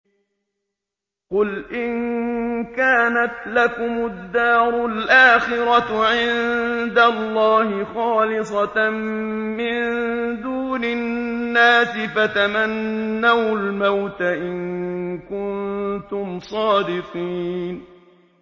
قُلْ إِن كَانَتْ لَكُمُ الدَّارُ الْآخِرَةُ عِندَ اللَّهِ خَالِصَةً مِّن دُونِ النَّاسِ فَتَمَنَّوُا الْمَوْتَ إِن كُنتُمْ صَادِقِينَ